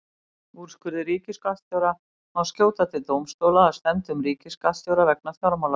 Úrskurði ríkisskattstjóra má skjóta til dómstóla að stefndum ríkisskattstjóra vegna fjármálaráðherra.